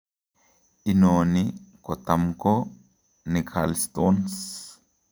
Inoni kotam koo ni gallstone